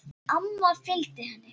Amma fylgdi henni.